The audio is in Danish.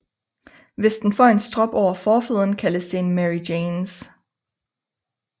Hvis den får en strop over forfoden kaldes det en Mary Janes